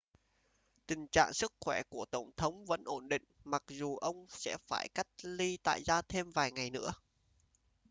tình trạng sức khỏe của tổng thống vẫn ổn định mặc dù ông sẽ phải cách ly tại gia thêm vài ngày nữa